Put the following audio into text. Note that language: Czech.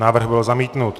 Návrh byl zamítnut.